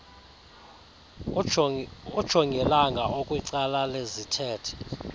ujongilanga okwicala lezithethe